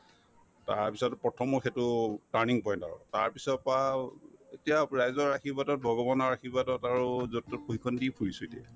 তাৰপিছত প্ৰথম মই সেইটো turning point আৰু তাৰপিছৰ পৰা আৰু এতিয়া ৰাইজৰ আশীৰ্বাদত ভগৱানৰ আশীৰ্বাদত আৰু যত-তত প্ৰশিক্ষণ দি ফুৰিছো এতিয়া